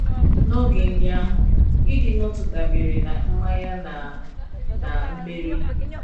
N’oge ndị ahụ, ịdị n’otu dabeere ná mmanye na ná mmeri.